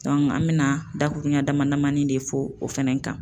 an bɛ na dakuruɲa damani damani de fɔ o fɛnɛ kan.